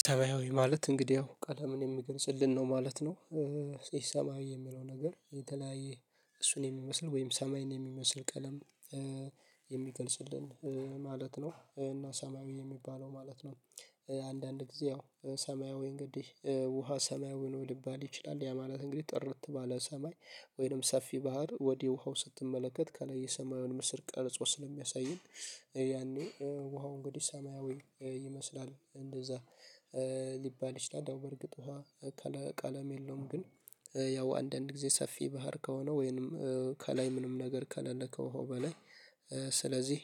ሰማያዊ ማለት እንግዲህ ያው ቀለምን የሚገልጽልን ነው ማለት ነው። ሰማያዊ የሚለው ነገር የተለያየ እሱን የሚመስል ወይም ሰማይን የሚመስል ቀለም የሚገልጽልን ማለት ነው እና ሰማያዊ የሚባለው ማለት ነው። አንዳንድ ጊዜ ያው ሰማያዊ እንግዲህ ውሃ ሰማያዊ ሊባል ይችላል ያ ማለት እንግዲህ ጥርት ባለ ሰማይ ወይንም ሰፊ ባህር ወደ ውሃው ስትመለከት ከላይ የሰማዩን ምስል ቀልጾ ስለሚያሳየን ያኔ ውሃው እንግዲህ ሰማያዊ ይመስላል እንደዛ ሊባል ይችላል። በርግጥ ውሃ ቀለም የለውም። ግን ያው አንዳንድ ጊዜ ሰፊ ባህር ከሆነ ወይንም ከላይ ምንም ነገር ከለለ ከዉሀው በላይ ስለዚህ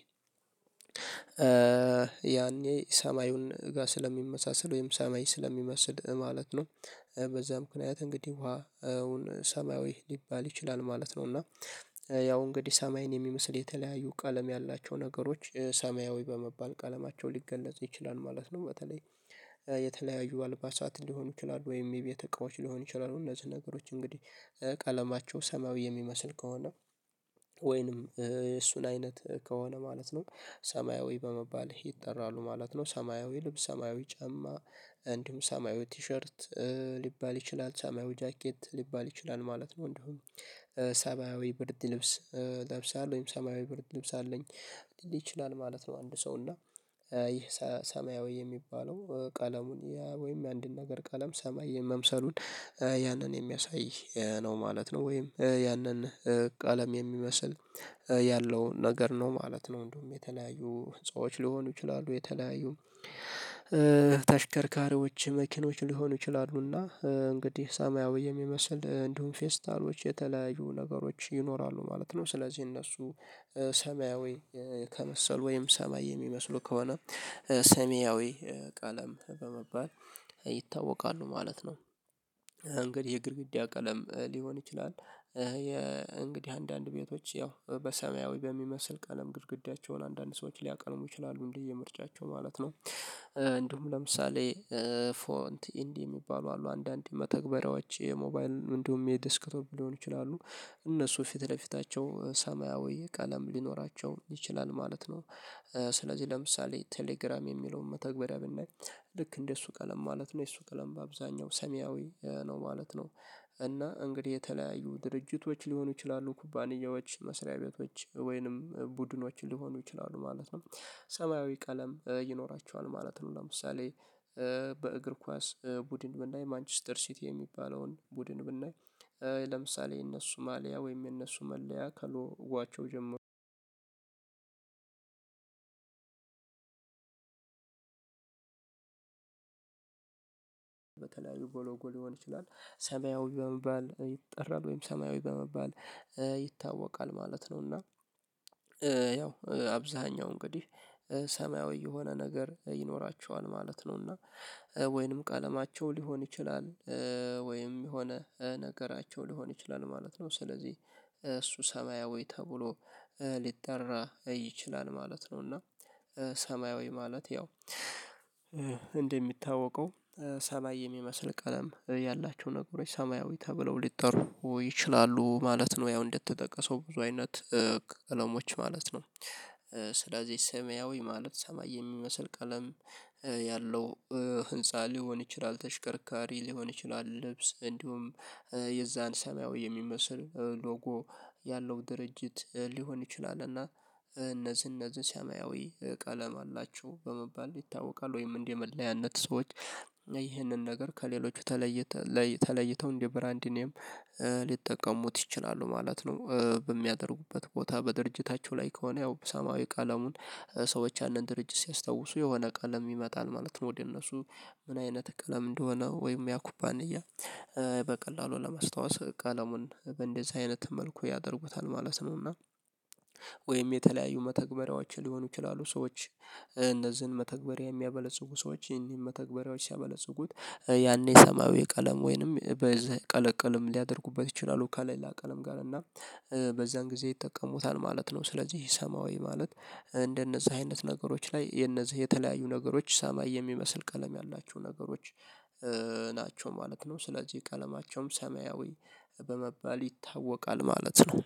ያኔ ሰማዩን ጋር ስለሚመሳሰል ወይም ሰማይ ስለሚመስል ማለት ነው። በዛ ምክንያት እንግዲህ ውሃ ዉሁን ሰማያዊ ሊባል ይችላል ማለት ነው። እና ያው እንግዲህ ሰማይን የሚመስል የተለያዩ ቀለም ያላቸው ነገሮች ሰማያዊ በመባል ቀለማቸው ሊገለጽ ይችላል ማለት ነው። በተለይ የተለያዩ አልባሳት ሊሆኑ ይችላሉ ወይም የቤተ እቃዎች ሊሆን ይችላሉ እነዚህ ነገሮች እንግዲህ ቀለማቸው ሰማያዊ የሚመስል ከሆነ ወይንም የእሱን አይነት ከሆነ ማለት ነው ሰማያዊ በመባል ይጠራሉ ማለት ነው። ሰማያዊ ልብስ ሰማያዊ ጫማ እንዲሁም ሰማያዊ ቲሸርት ሊባል ይችላል ሰማያዊ ጃኬት ሊባል ይችላል ማለት ነው። እንዲሁም ሰማያዊ ብርድ ልብስ ለብሰሀል ወይም ሰማያዊ ብርድ ልብስ አለኝ ሊል ይችላል ማለት ነው። አንድ ሰው እና ይህ ሰማያዊ የሚባለው ቀለሙን ወይም የአንድን ነገር ቀለም ሰማይ የመምሰሉን ያንን የሚያሳይ ነው ማለት ነው ወይም ያንን ቀለም የሚመስል ያለውን ነገር ነው ማለት ነው። እንደውም የተለያዩ ህንፃዎች ሊሆኑ ይችላሉ የተለያዩ ተሽከርካሪዎች መኪኖች ሊሆኑ ይችላሉና እንግዲህ ሰማያዊ የሚመስል እንዲሁም ፌስታሎች የተለያዩ ነገሮች ይኖራሉ ማለት ነው። ስለዚህ እነሱ ሰማያዊ ከመሰሉ ወይም ሰማይ የሚመስሉ ከሆነ ሰማያዊ ቀለም በመባል ይታወቃሉ ማለት ነው። እንግዲህ የግድግዳ ቀለም ሊሆን ይችላል የእንግዲህ አንዳንድ ቤቶች ያው በሰማያዊ በሚመስል ቀለም ግድግዳቸውን አንዳንድ ሰዎች ሊያቀልሙ ይችላሉ እንደየ ምርጫቸው ማለት ነው። እንዲሁም ለምሳሌ ፎንት ኢንዲ የሚባሉ አሉ አንዳንዴ መተግበሪያዎች የሞባይልን እንደውም የዴስክፕ ሊሆን ይችላሉ እነሱ ፊት ለፊታቸው ሰማያዊ ቀለም ሊኖራቸው ይችላል ማለት ነው። ስለዚህ ለምሳሌ ቴሌግራም የሚለውን መተግበሪያ ብናይ ልክ እንደሱ ቀለም ማለት ነው የሱ ቀለም በአብዛኛው ሰማያዊ ነው ማለት ነው። እና እንግዲህ የተለያዩ ድርጅቶች ሊሆኑ ይችላሉ ኩባንያዎች መስሪያ ቤቶች ወይንም ቡድኖችን ሊሆኑ ይችላሉ ማለት ነው ሰማያዊ ቀለም ይኖራቸዋል ማለት ነው። ለምሳሌ በእግር ኳስ ቡድን ብናይ ማንችስተር ሲቲ የሚባለውን ቡድን ብናይ ለምሳሌ የነሱ ማልያ ወይም የነሱ መለያ ከሎጓዋቸው ጀምሮ በተለያዩ ቦሎጎ ሊሆን ይችላል ሰማያዊ በመባል ይጠራል ወይም ሰማያዊ በመባል ይታወቃል ማለት ነው። እና ያው አብዛኛው እንግዲህ ሰማያዊ የሆነ ነገር ይኖራቸዋል ማለት ነውና ወይንም ቀለማቸው ሊሆን ይችላል ወይም የሆነ ነገራቸው ሊሆን ይችላል ማለት ነው። ስለዚህ እሱ ሰማያዊ ተብሎ ሊጠራ ይችላል ማለት ነው እና ሰማያዊ ማለት ያው እንደሚታወቀው ሰማይ የሚመስል ቀለም ያላቸው ነገሮች ሰማያዊ ተብለው ሊጠሩ ይችላሉ ማለት ነው። ያው እንደተጠቀሰው ብዙ አይነት ቀለሞች ማለት ነው። ስለዚህ ሰማያዊ ማለት ሰማይ የሚመስል ቀለም ያለው ህንፃ ሊሆን ይችላል ተሽከርካሪ ሊሆን ይችላል ልብስ እንዲሁም የዛን ሰማያዊ የሚመስል ሎጎ ያለው ድርጅት ሊሆን ይችላል። እና እነዚህ እነዚህ ሰማያዊ ቀለም አላቸው በመባል ይታወቃል ወይም እንደ መለያነት ሰዎች ይህንን ነገር ከሌሎቹ ተለይተው ተለይተው እንደ ብራንድ ኔም ሊጠቀሙት ይችላሉ ማለት ነው። በሚያደርጉበት ቦታ በድርጅታቸው ላይ ከሆነ ያው ሳማያዊ ቀለሙን ሰዎች ያንን ድርጅት ሲያስታውሱ የሆነ ቀለም ይመጣል ማለት ነው ወደ እነሱ ምን አይነት ቀለም እንደሆነ ወይም ያ ኩባንያ በቀላሉ ለማስታወስ ቀለሙን በእንደዚህ አይነት መልኩ ያደርጉታል ማለት ነውና። ወይም የተለያዩ መተግበሪያዎች ሊሆኑ ይችላሉ ሰዎች እነዚህን መተግበሪያ የሚያበለጽጉ ሰዎች ይሄንን መተግበሪያዎች ሲያበለጽጉት ያኔ ሰማያዊ ቀለም ወይንም በዚህ ቀለቀልም ሊያደርጉበት ይችላሉ ከሌላ ቀለም ጋር እና በዛን ጊዜ ይጠቀሙታል ማለት ነው። ስለዚህ ሰማያዊ ማለት እንደነዛ አይነት ነገሮች ላይ የነዚህ የተለያዩ ነገሮች ሰማይ የሚመስል ቀለም ያላቸው ነገሮች ናቸው ማለት ነው ስለዚህ ቀለማቸውም ሰማያዊ በመባል ይታወቃል ማለት ነው